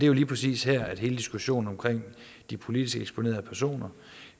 jo lige præcis her at hele diskussionen omkring de politisk eksponerede personer